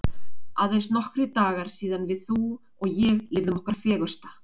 Aðeins nokkrir dagar síðan við þú og ég lifðum okkar fegursta.